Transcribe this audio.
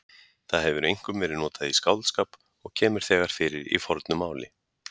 Það hefur einkum verið notað í skáldskap og kemur þegar fyrir í fornu máli.